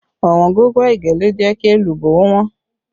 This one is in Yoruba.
Ọ̀wọ́ngógó ẹ̀gẹ́ ló jẹ́ kí èlùbọ́ ó wọ́n